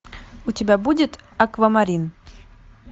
у тебя будет аквамарин